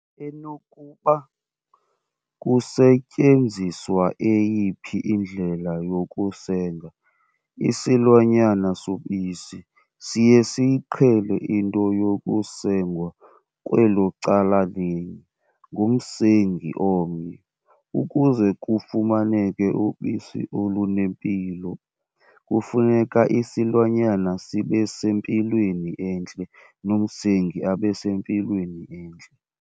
Enokuba kusetyenziswa eyiphi indlela yokusenga, isilwanyana sobisi, siye siyiqhele into yokusengwa kwelo cala linye, ngumsengi omnye. Ukuze kufumaneke ubisi olunempilo, kufuneka isilwanyana sibe sempilweni entle nomsengi abese mpilweni entle.